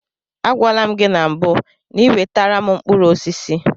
Agwala m gị na mbụ n'iwetara m mkpụrụ osisi.